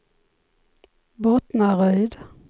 Bottnaryd